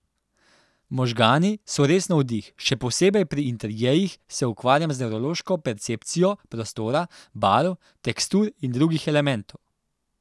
Možgani so res navdih, še posebej pri interjerjih se ukvarjam z nevrološko percepcijo prostora, barv, tekstur in drugih elementov.